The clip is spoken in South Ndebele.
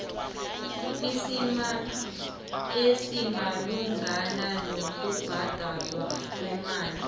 esimalungana nokubhadalwa kwemali